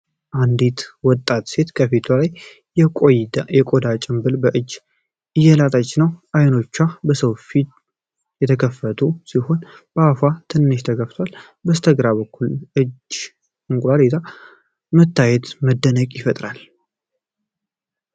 አንዲት ወጣት ሴት ከፊቷ ላይ የቆዳ ጭምብል በእጅ እየላጠች ነው። አይኖቿን በሰፊው የከፈተች ሲሆን አፏ በትንሹ ተከፍቷል። በስተግራ በኩል እጅ እንቁላል ይዞ መታየቱ መደነቅን ይፈጥራል።